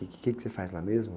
O quê que você faz lá mesmo?